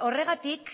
horregatik